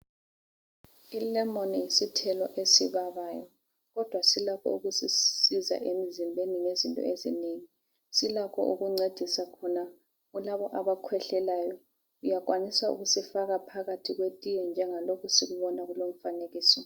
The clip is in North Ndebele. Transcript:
Ilemoni yisithelo esibabayo ,kodwa silakho ukusisiza emzimbeni ngezinto ezinengi ,silakho ukuncedisa khona kulabo abakhwehlelayo, uyakwanisa ukusifaka phakathi kwetiye njengalokhu esikubona kulowu umfanekiso